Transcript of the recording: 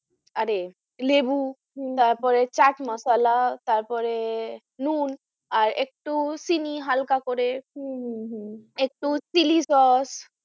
আরে লেবু হম তারপরে চাট মশালা তারপরে নুন আর একটু চিনি হালকা করে হম হম হম একটু চিলি সস।